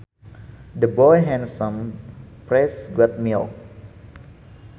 The boy had some fresh goat milk